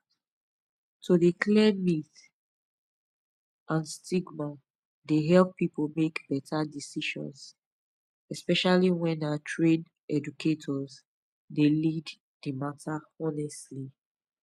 to dey clear myths pause and stigma dey help people make better decisions especially when na trained educators dey lead di matter honestly